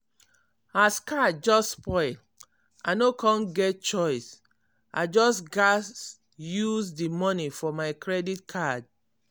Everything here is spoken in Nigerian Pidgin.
as car just spoil i no con get choice i just gas use di money for my credit card.